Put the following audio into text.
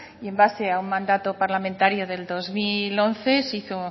y en base a un mandato parlamentario del dos mil once se hizo